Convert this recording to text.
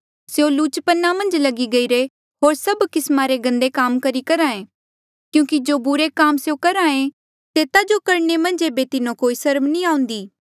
स्यों लुचपना मन्झ लगी गईरे होर सभ किस्मा रे गंदे काम करी करहे क्यूंकि जो बुरे काम स्यों करहे तेता जो करणे मन्झ ऐबे तिन्हो कोई सर्म नी आउंदी